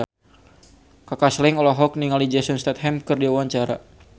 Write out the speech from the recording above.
Kaka Slank olohok ningali Jason Statham keur diwawancara